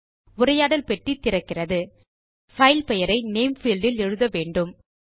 உரையாடல் பெட்டி திறக்கிறது பைல் பெயரை நேம் பீல்ட் இல் எழுத வேண்டும்